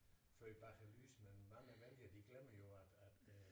For i baglyset mange vælgere de glemmer jo at at øh